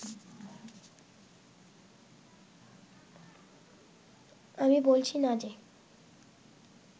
আমি বলছি না যে